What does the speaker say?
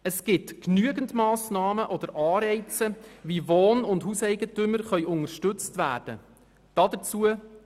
Es gibt genügend Massnahmen oder Anreize, wie Wohnungs- und Hauseigentümer unterstützt werden können.